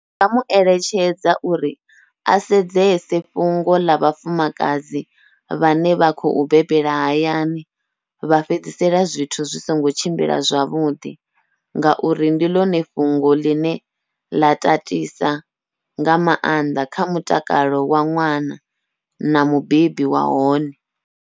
Ndi nga mueletshedza uri a sedzese fhungo ḽa vhafumakadzi vhane vha khou bebela hayani, vha fhedzisela zwithu zwi songo tshimbila zwavhuḓi ngauri ndi ḽone fhungo ḽine ḽa tatisa nga maanḓa kha mutakalo wa ṅwana na mubebi wa hone.